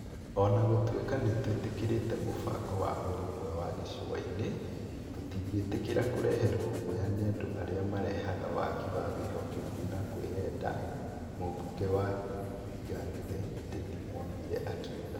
"O na gũtuika nĩ twĩtĩkĩrite mũbango wa ũrũmwe wa gĩcũa-inĩ, tũtingĩtĩkĩra kũreherwo guoya nĩ andũ arĩa marehaga wagi wa wĩhokeku na kwĩyenda, "mũmbunge wa Ganze Teddy Mwambire akiuga.